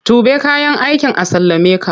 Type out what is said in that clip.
Tuɓe kayan aikin an sallameka!